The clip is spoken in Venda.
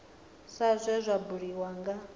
sa zwe zwa buliwa nga